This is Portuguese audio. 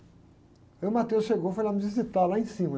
Aí o chegou e foi lá me visitar lá em cima.